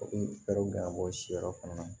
U bɛ fɛɛrɛw bila bɔ siyɔrɔ fana na